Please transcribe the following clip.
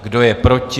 Kdo je proti?